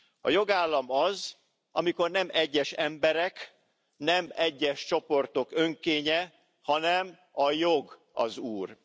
A jogállam az, amikor nem egyes emberek, nem egyes csoportok önkénye, hanem a jog az úr.